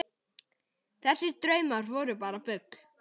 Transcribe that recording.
Þessir draumar voru bara bull.